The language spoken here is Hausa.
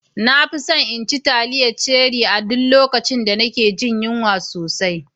Na fi son naci taliyar Cherie a duk lokacin da nake jin yunwa sosai.